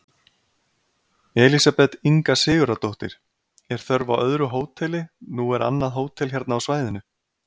Elísabet Inga Sigurðardóttir: Er þörf á öðru hóteli, nú er annað hótel hérna á svæðinu?